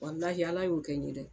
Walahi ala y'o kɛ n ye dɛ